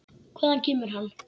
Hvaðan kemur hann?